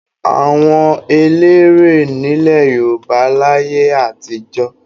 Àwọn eléré w nílẹ̀ Yorùbá láyé àtijọ́.